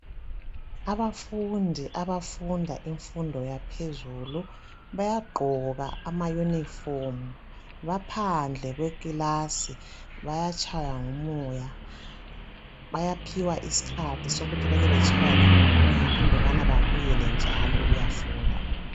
Abafundi abafunda imfundo yaphezulu bayagqoka amayunifomu baphandle kwekilasi bayatshaywa ngumoya bayaphiwa isikhathi sokuthi labo bakebatshaywe ngumoya andubana baphiwe isikhathi sokuyafunda.